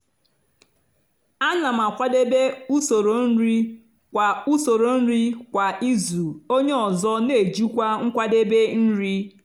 ana m akwadebe usoro nri kwa usoro nri kwa izu onye ọzọ n'ejikwa nkwadebe nri.